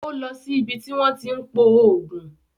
Ó lọ sí ibi tí wọ́n tí ń pò oògùn